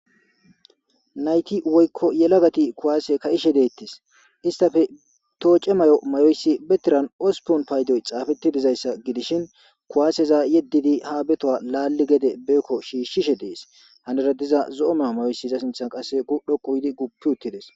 Nayti woyko yelagati kuwase ka'ishe detes, istappe toce mayo mayoyis be Tiran ospun paydon xafeti dizaysa gidishn kuwaseza yedid ha be towan beko shiishashe des, milera diza zo'o mayo mayoyis iza sinthan dhoqu gid gufi utides